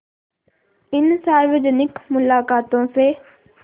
इन सार्वजनिक मुलाक़ातों से